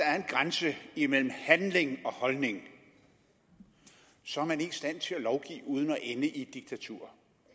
er en grænse imellem handling og holdning så er man ikke i stand til at lovgive uden at ende i et diktatur